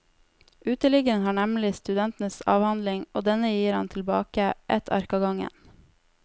Uteliggeren har nemlig studentens avhandling, og denne gir han tilbake, ett ark av gangen.